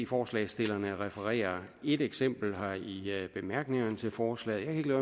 forslagsstillerne refererer et eksempel her i bemærkningerne til forslaget jeg